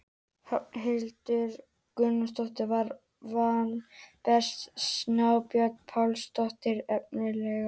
Hrafnhildur Guðnadóttir var valin best og Snæbjört Pálsdóttir efnilegust.